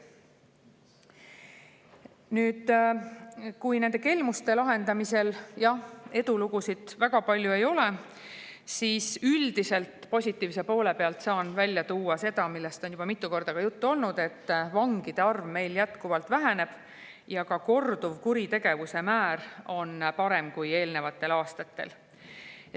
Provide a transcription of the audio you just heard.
Nüüd, nende kelmuste lahendamisel, jah, edulugusid väga palju ei ole, aga üldiselt saan positiivse poole pealt välja tuua seda, millest on juba mitu korda juttu olnud: vangide arv meil jätkuvalt väheneb ja ka korduvkuritegevuse määr on kui eelnevatel aastatel.